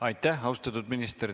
Aitäh, austatud minister!